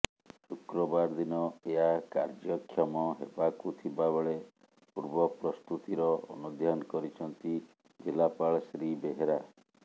ଶୁକ୍ରବାର ଦିନ ଏହା କାର୍ଯ୍ୟକ୍ଷମ ହେବାକୁ ଥିବା ବେଳେ ପୂର୍ବ ପ୍ରସ୍ତୁତିର ଅନୁଧ୍ୟାନ କରିଛନ୍ତି ଜିଲ୍ଳାପାଳ ଶ୍ରୀ ବେହେରା